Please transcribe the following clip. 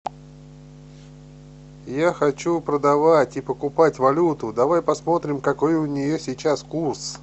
я хочу продавать и покупать валюту давай посмотрим какой у нее сейчас курс